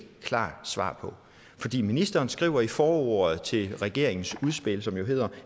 klart svar på fordi ministeren skriver i forordet til regeringens udspil som jo hedder